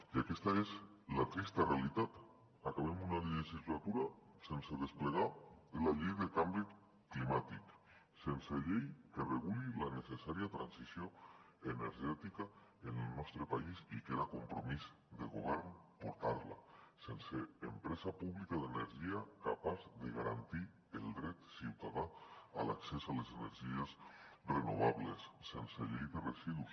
i aquesta és la trista realitat acabem una legislatura sense desplegar la llei de canvi climàtic sense llei que reguli la necessària transició energètica en el nostre país i que era compromís del govern sense empresa pública d’energia capaç de garantir el dret ciutadà a l’accés a les energies renovables sense llei de residus